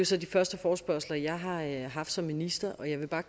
så de første forespørgsler jeg har haft som minister og jeg